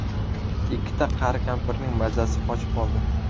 Ikkita qari kampirning mazasi qochib qoldi.